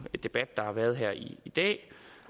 debat der har været her i dag